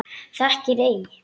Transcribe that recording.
Þekkir ei?